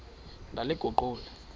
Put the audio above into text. ndaliguqula